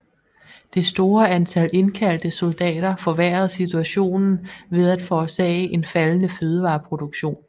Det store antal indkaldte soldater forværrede situationen ved at forårsage en faldende fødevareproduktion